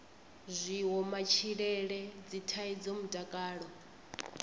zwiwo matshilele dzithaidzo mutakalo